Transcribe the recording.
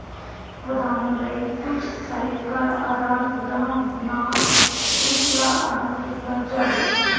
ਵਧਾਉਣ ਲਈ ਕੁਝ ਸਾਹਿਤਕਾਰ ਆਦਾਨ ਪ੍ਰਦਾਨ ਨਾ ਸਿਲਸਿਲਾ ਆਰੰਭ ਕੀਤਾ ਜਾਵੇ